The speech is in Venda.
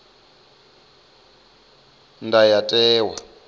ndayotewa